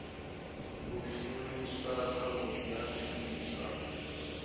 u shumiswa zwavhudi ha zwishumiswa